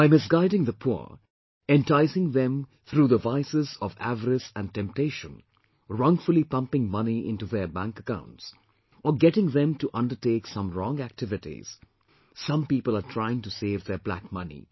By misguiding the poor, enticing them through the vices of avarice and temptation, wrongfully pumping money into their bank accounts, or getting them to undertake some wrong activities, some people are trying to save their black money